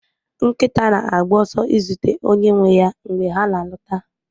Nkịta na-agba ọsọ izute onye nwe ya mgbe ha na-alọta